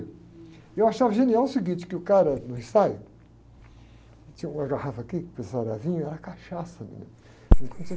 E eu achava genial o seguinte, que o cara, no ensaio, tinha uma garrafa aqui, que vinho, era cachaça mesmo.